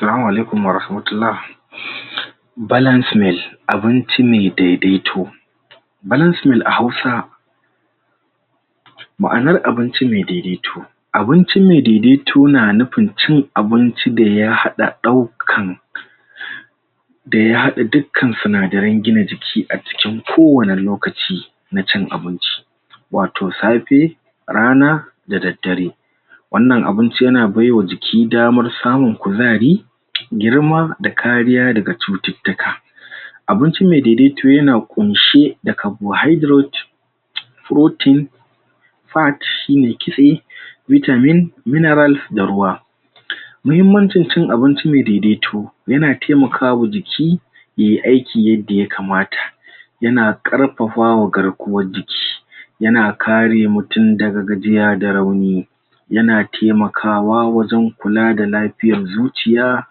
Salamu alaikum waharahmatullah balance meal, abinci mai daidaito balance meal a Hausa ma'anar abinci mai daidaito abinci mai daidaito na nufin cin abinci daya haɗa ɗaukan daya haɗa dukkan sinadaran gina jiki a cikin kowani lokaci na cin abinci wato safe, rana, da daddare wannan abinci yana baiwa jiki damar samun kuzari girma da kariya daga cututtuka abinci mai daidaito yana ƙunshe da carbohydrate protein fat shi ne kitse vitamin, mineral da ruwa mahimmanci cin abinci mai daidaito yana taimakawa jiki yai aiki yadda yakamata yana ƙarfafa wa garkuwar jiki yana kare mutun daga gajiya da rauni yana taimakawa wajen kula da lafiyar zuciya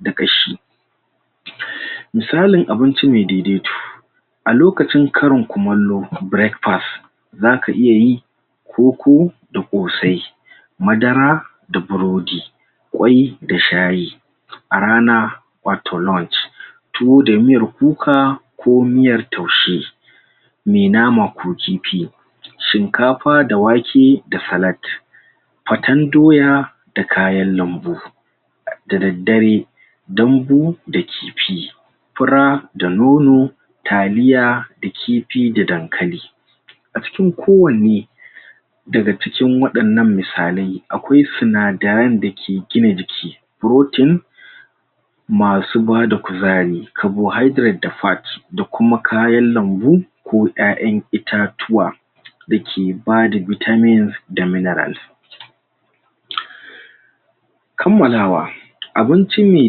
da ƙashi misalin abinci mai daidaito a lokacin karin kumallo (breakfast) zaka iya yi koko da ƙosai madara da burodi ƙwai da shayi a rana wato lunch tuwo da miyar kuka ko miyar taushe mai nama ko kifi shinkafa da wake da salad faten doya da kayan lambu da daddare, dambu da kifi fura da nono, taliya da kifi da dankali a cikin kowanne daga cikin waɗannan misalai akwai sinadaran da ke gina jiki protein masu bada kuzari carbohydrate da fat da kuma kayan lambu ko ƴaƴan itatuwa da ke bada vitamins da minerals kammalawa abinci mai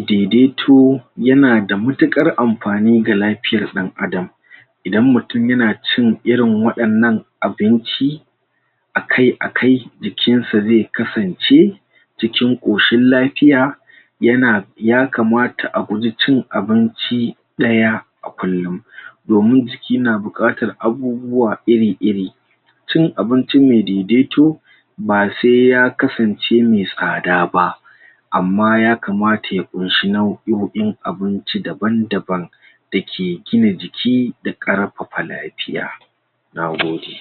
daidaito yana da matuƙar amfani ga lafiyar ɗan'adam idan mutun yana cin irin waɗannan abinci akai-akai jikin sa zai kasance cikin ƙoshin lafiya yana yakamata a guji cin abinci ɗaya a kullun domin jiki na buƙatar abubuwa irir-iri cin abinci mai daidaito ba se ya kasance mai tsada ba amma yakamata ya ƙunshi nau'oin abinci daban-daban da ke gina jiki da ƙarfafa lafiya na gode.